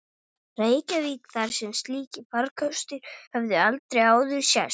Reykjavík, þar sem slíkir farkostir höfðu aldrei áður sést.